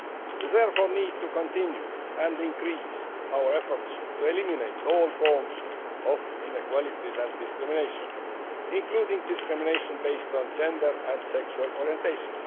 We therefore need to continue and increase our efforts to eliminate all forms of inequality and discrimination, including discrimination based on gender and sexual orientation.